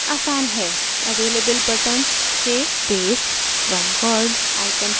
available buttons से paste from word icon चुनें